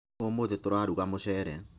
Ũmũthĩ tũraruga mũcere.